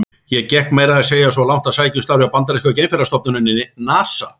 Ég gekk meira að segja svo langt að sækja um starf hjá bandarísku geimferðastofnuninni, NASA.